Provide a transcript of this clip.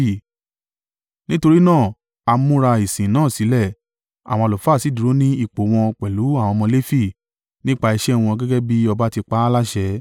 Nítorí náà, a múra ìsìn náà sílẹ̀, àwọn àlùfáà sì dúró ní ipò wọn pẹ̀lú àwọn ọmọ Lefi nípa iṣẹ́ wọn gẹ́gẹ́ bí ọba ti pa á láṣẹ.